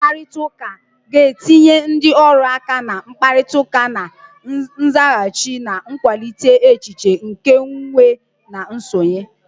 Usoro mkparịta ụka ga-etinye ndị ọrụ aka na mkparịta ụka na nzaghachi, na-akwalite echiche nke nwe na nsonye.